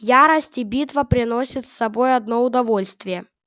ярость и битва приносят с собой одно удовольствие